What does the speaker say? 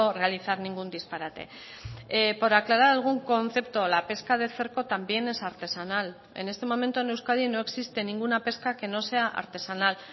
realizar ningún disparate por aclarar algún concepto la pesca de cerco también es artesanal en este momento en euskadi no existe ninguna pesca que no sea artesanal